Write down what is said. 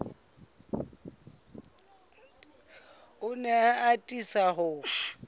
o ne a atisa ho